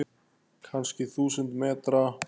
Kannski þúsund metra?